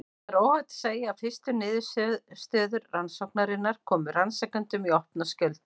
Það er óhætt að segja að fyrstu niðurstöður rannsóknarinnar komu rannsakendum í opna skjöldu.